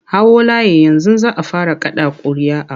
Hau layi yanzu za a fara kaɗa ƙuria'a!